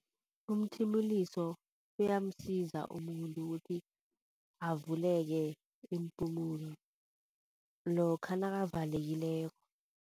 Umthimuliso uyamsiza umuntu ukuthi avuleke iimpumulo lokha nakavalekileko.